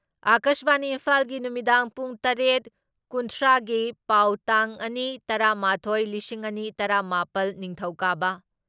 ꯑꯀꯥꯁꯕꯥꯅꯤ ꯏꯝꯐꯥꯜꯒꯤ ꯅꯨꯃꯤꯗꯥꯡ ꯄꯨꯡ ꯇꯔꯦꯠ ꯀꯨꯟꯊ꯭ꯔꯥ ꯒꯤ ꯄꯥꯎ ꯇꯥꯡ ꯑꯅꯤ ꯇꯔꯥ ꯃꯥꯊꯣꯏ ꯂꯤꯁꯤꯡ ꯑꯅꯤ ꯇꯔꯥ ꯃꯥꯄꯜ, ꯅꯤꯡꯊꯧꯀꯥꯕ